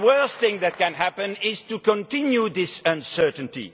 The worst thing that can happen is to continue this uncertainty.